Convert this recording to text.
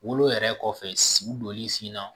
Wolo yɛrɛ kɔfɛ si donli sen na